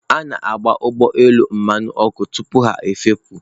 A na-agba ụgbọ elu mmanụ ọkụ tupu ha efepụ.